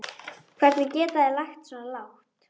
Hvernig geta þeir lagst svona lágt?